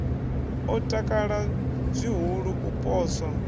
o takala zwihulu u poswa